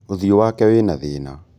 ũthiũ wake wĩna thĩna